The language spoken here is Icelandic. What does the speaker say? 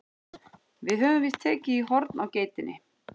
Við höfum víst tekið í horn á geitinni.